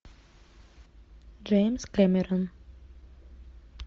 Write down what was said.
джеймс кэмерон